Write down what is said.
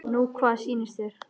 Nú hvað sýnist þér.